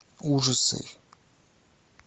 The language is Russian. ужасы